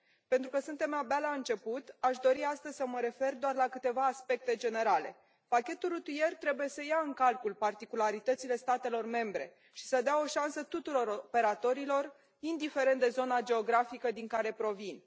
Pentru că suntem abia la început, aș dori astăzi să mă refer doar la câteva aspecte generale pachetul rutier trebuie să ia în calcul particularitățile statelor membre și să dea o șansă tuturor operatorilor, indiferent de zona geografică din care provin.